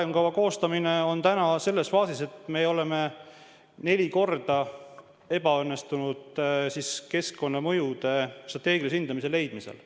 Arengukava koostamine on täna selles faasis, et me oleme neli korda ebaõnnestunud keskkonnamõjude strateegilise hindaja leidmisel.